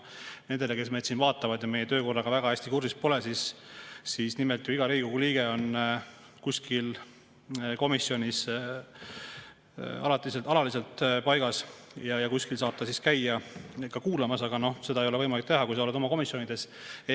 Nendele, kes meid siin vaatavad ja meie töökorraga väga hästi kursis pole, ütlen, et iga Riigikogu liige on kuskil komisjonis alaliselt paigas ja ta saab käia ka kuulamas, aga seda ei ole võimalik teha, kui sa oled oma komisjoni.